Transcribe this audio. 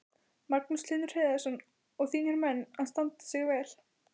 Magnús Hlynur Hreiðarsson: Og þínir menn að standa sig vel?